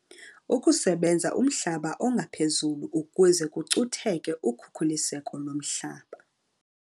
Ukusebenza umhlaba ongaphezulu ukuze kucutheke ukhukuliseko lomhlaba.